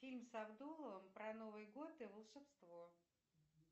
фильм с абдуловым про новый год и волшебство